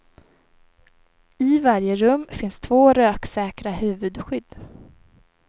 I varje rum finns två röksäkra huvudskydd.